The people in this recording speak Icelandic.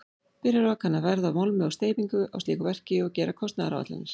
Byrjar á að kanna verð á málmi og steypingu á slíku verki og gera kostnaðaráætlanir.